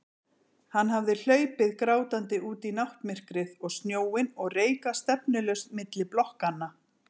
Hann hafði hlaupið grátandi út í náttmyrkrið og snjóinn og reikað stefnulaust milli blokkanna.